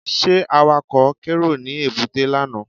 Ṣé Awakọ̀ kérò ní èbúté lánàá?